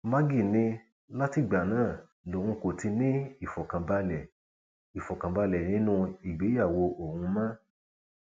maggie ní látìgbà náà lòun kò ti ní ìfọkànbalẹ ìfọkànbalẹ nínú ìgbéyàwó òun mọ